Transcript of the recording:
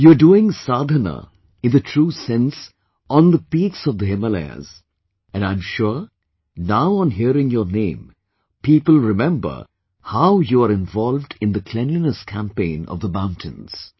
You are doing sadhna in true sense on the peaks of the Himalayas and I am sure now on hearing your name, people remember how you are involved in the cleanliness campaign of the mountains